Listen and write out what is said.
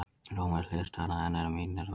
Rómversk hliðstæða hennar er Mínerva.